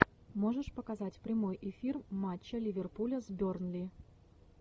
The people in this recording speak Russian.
можешь показать прямой эфир матча ливерпуля с бернли